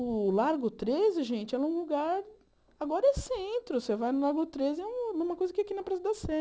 O Largo treze, gente, é um lugar... Agora é centro, você vai no Largo treze, é uma coisa que aqui na praça da sé